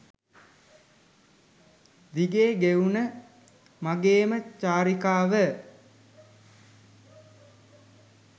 දිගේ ගෙවුණ මගේම චාරිකාව.